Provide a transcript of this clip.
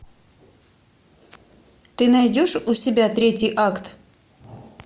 ты найдешь у себя третий акт